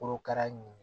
Korokara ɲɛn